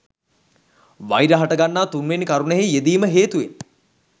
වෛර හටගන්නා තුන්වෙනි කරුණෙහි යෙදීම හේතුවෙන්